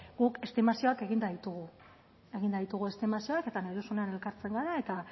guk estimazioak eginda ditugu eginda ditugu estimazioak eta nahi duzunean elkartzen gara eta